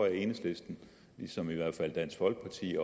at enhedslisten ligesom i hvert fald dansk folkeparti